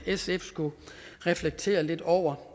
sf skulle reflektere lidt over